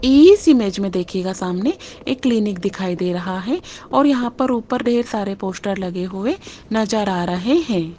इस इमेज में देखिएगा सामने एक क्लीनिक दिखाई दे रहा है और यहां पर ऊपर ढेर सारे पोस्टर लगे हुए नजर आ रहे हैं।